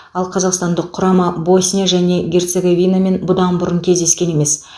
ал қазақстандық құрама босния және герцоговинамен бұдан бұрын кездескен емес